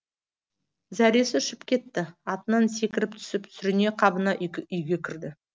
зәресі ұшып кетті атынан секіріп түсіп сүріне қабына үйге кірді